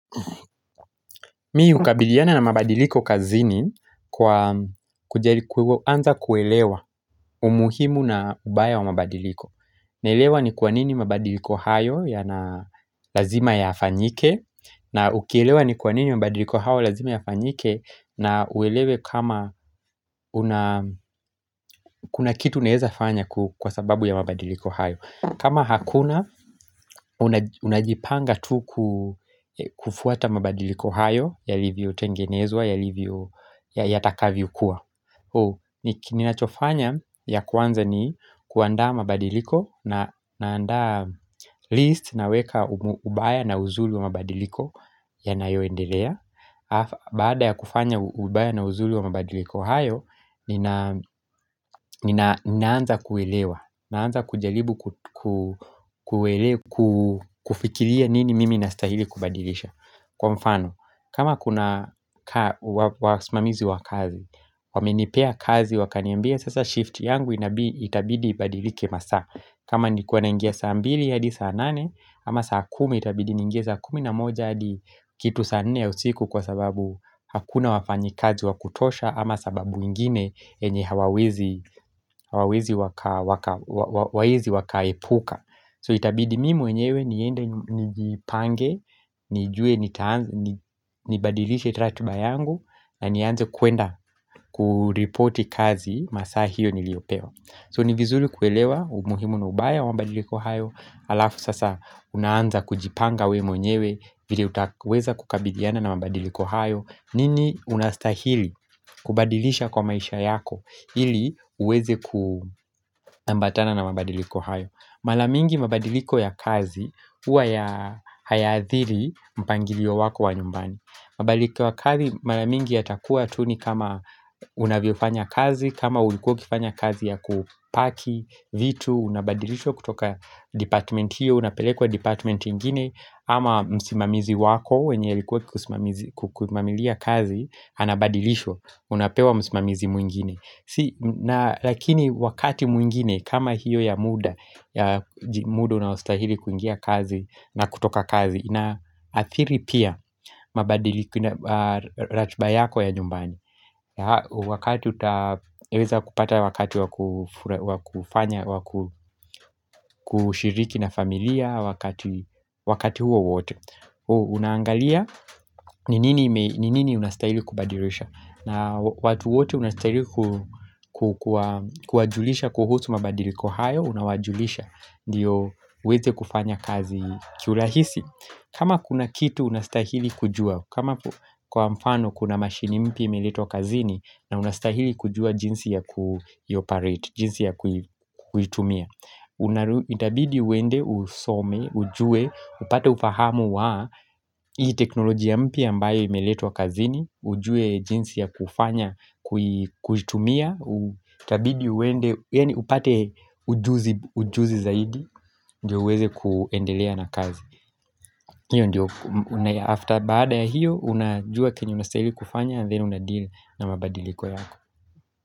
Mi ukabiliana na mabadiliko kazini kwa anza kuelewa umuhimu na ubaya wa mabadiliko naelewa ni kwa nini mabadiliko hayo yana lazima yaafanyike na ukielewa ni kwa nini mabadiliko hao lazima yaafanyike na uelewe kama kuna kitu naeza fanya kwa sababu ya mabadiliko hayo kama hakuna, unajipanga tu kufuata mabadiliko hayo Yalivyotengenezwa, yalivyo yatakavyo kua Ninachofanya ya kwanza ni kuanda mabadiliko Naanda list naweka ubaya na uzuli wa mabadiliko yanayoendelea Baada ya kufanya ubaya na uzuli wa mabadiliko hayo, ninaanza kuelewa Naanza kujalibu kufikilia nini mimi nastahili kubadilisha Kwa mfano kama kuna wasimamizi wa kazi, wamenipea kazi wakaniembia sasa shift yangu itabidi ibadilike masa kama nilikuwa naingia saa ambili hadi saa nane ama saa kumi itabidi ningie saa kumi na moja hadi kitu saa nne ya usiku kwa sababu hakuna wafanyi kazi wakutosha Ama sababu ingine enye hawawezi wakaepuka So itabidi mi mwenyewe niende nijipange, nijue, nibadilishe ratiba yangu na nianze kuenda kureporti kazi masa hiyo niliopewa So ni vizuli kuelewa umuhimu na ubaya wa mabadiliko hayo Alafu sasa unaanza kujipanga we mwenyewe vile utakweza kukabidiana na mabadiliko hayo nini unastahili kubadilisha kwa maisha yako ili uweze kuambatana na mabadiliko hayo Malamingi mabadiliko ya kazi uwa ya hayathiri mpangilio wako wa nyumbani mabadiliko wa kazi malamingi yatakua tu nikama unaviofanya kazi kama ulikuwa ukifanya kazi ya kupaki, vitu, unabadilisha kutoka department hiyo Unapelekwa department ingine ama msimamizi wako wenye ilikuwa kukumamilia kazi Anabadilishwa unapewa msimamizi muingine Lakini wakati mwingine kama hiyo ya muda muda unaustahili kuingia kazi na kutoka kazi ina atiri pia mabadiliku na ratiba yako ya nyumbani Wakati utaweza kupata wakati wakufanya kushiriki na familia wakati huo wote Unaangalia ni nini unastahili kubadilisha na watu wote unastahili kuwajulisha kuhusu mabadiliko hayo unawajulisha Ndiyo uweze kufanya kazi kiu lahisi kama kuna kitu unastahili kujua kama kwa mfano kuna mashini mpya imeletwa kazini na unastahili kujua jinsi ya kuitumia Itabidi uwende usome, ujue, upate ufahamu wa Hii teknolojia mpya ambayo imeletwa kazini ujue jinsi ya kufanya kuitumia Utabidi uende upate ujuzi zaidi Ndiyo uweze kuendelea na kazi hiyo ndiyo After baada ya hiyo Unajua kenye unastahili kufanya Then unadeal na mabadiliko yako.